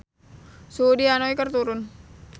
Suhu di Hanoi keur turun